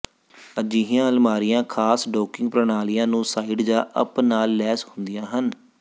ਅਜਿਹੀਆਂ ਅਲਮਾਰੀਆਂ ਖ਼ਾਸ ਡੌਕਿੰਗ ਪ੍ਰਣਾਲੀਆਂ ਨੂੰ ਸਾਈਡ ਜਾਂ ਅਪ ਨਾਲ ਲੈਸ ਹੁੰਦੀਆਂ ਹਨ